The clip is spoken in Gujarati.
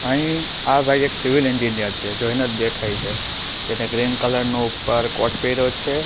અહીં આ ભાઈ એક સિવિલ એન્જિનિયર છે જોઈને જ દેખાય છે જેને ગ્રીન કલર નો ઉપર કોટ પહેર્યો છે.